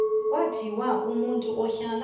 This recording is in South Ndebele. kwathiwa umuntu uhlala